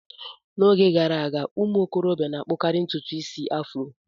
N'oge gara aga ụmụ okorobịa na-akpukari ntutu isi afro.